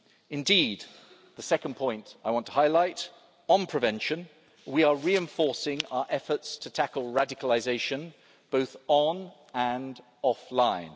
Indeed, this brings me to the second point I want to highlight on prevention, we are reinforcing our efforts to tackle radicalisation, both online and offline.